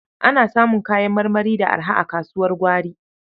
Ana samun kayan marmari da araha a kasuwar gwari.